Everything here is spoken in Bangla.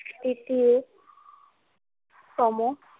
তৃতীয় তম।